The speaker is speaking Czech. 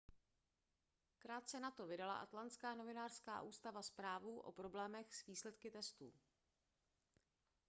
krátce nato vydala atlantská novinářská ústava zprávu o problémech s výsledky testů